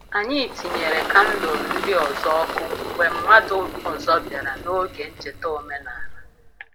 Anyị tinyere kandụl ndị ọzọ ọkụ mgbe mmadụ ọzọ bịara n’oge ncheta omenala.